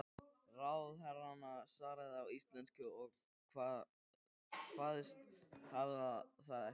Ráðherrann svaraði á íslensku og kvaðst hafa það eftir